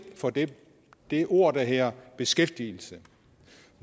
for det det ord der hedder beskæftigelse